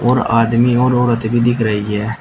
और आदमी और औरत भी दिख रही है।